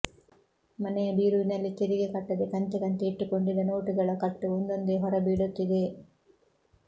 ಮನೆಯ ಬೀರುವಿನಲ್ಲಿ ತೆರಿಗೆ ಕಟ್ಟದೆ ಕಂತೆ ಕಂತೆ ಇಟ್ಟುಕೊಂಡಿದ್ದ ನೋಟುಗಳ ಕಟ್ಟು ಒಂದೊಂದೇ ಹೊರ ಬೀಳುತ್ತಿದೆ